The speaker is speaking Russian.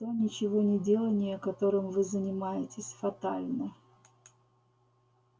то ничегонеделание которым вы занимаетесь фатально